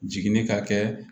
Jiginni ka kɛ